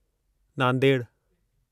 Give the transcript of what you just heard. नांदेड़ु